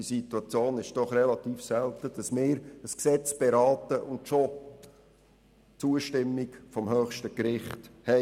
Es kommt doch relativ selten vor, dass wir ein Gesetz beraten und schon die Zustimmung des höchsten Gerichts haben.